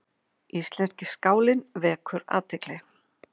Íslenski skálinn vekur athygli